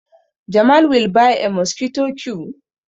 Jamal will buy a mosquito q